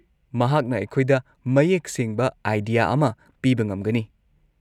ꯃꯍꯥꯛꯅ ꯑꯩꯈꯣꯏꯗ ꯃꯌꯦꯛ ꯁꯦꯡꯕ ꯑꯥꯢꯗꯤꯌꯥ ꯑꯃ ꯄꯤꯕ ꯉꯝꯒꯅꯤ꯫